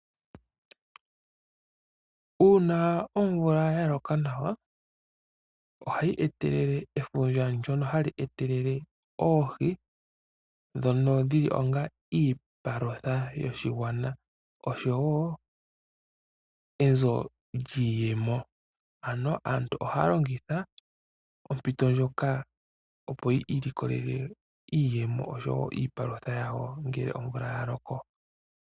Uuna omvula ya loka nawa oha yi etelele efundja ndyono ha li etelele oohi dhono dhi li onga iipalutha yoshigwana osho woo enzo lyiiyemo. Ano aantu oha ya longitha ompito ndjoka opo yi iilikolele iiyemo osho woo iipalutha yawo ngele omvula ya loko.